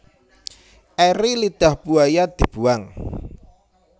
Eri lidah buaya dibuwang